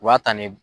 U b'a ta ni